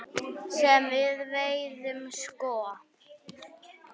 Sem við veiðum sko?